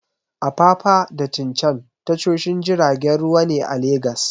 Apapa da Tin Can tashoshin jiragen ruwa ne a Legas.